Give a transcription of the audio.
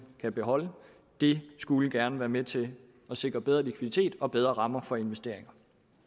kan beholde det skulle gerne være med til at sikre bedre likviditet og bedre rammer for investeringer